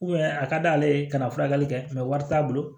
a ka d'ale ye ka na furakɛli kɛ wari t'a bolo